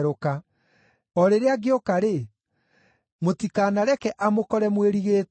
O rĩrĩa angĩũka-rĩ, mũtikanareke amũkore mwĩrigĩtwo.